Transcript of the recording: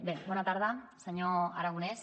bé bona tarda senyor aragonès